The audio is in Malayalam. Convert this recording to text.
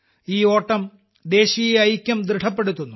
ഈ ഓട്ടം ദേശീയ ഐക്യം ദൃഢപ്പെടുത്തുന്നു